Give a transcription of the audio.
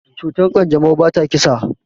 Cutar kanjamau bata kisa.